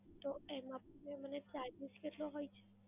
તો એમાં mam એનો charges કેટલો હોય છે?